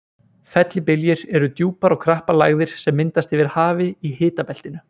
Fellibyljir eru djúpar og krappar lægðir sem myndast yfir hafi í hitabeltinu.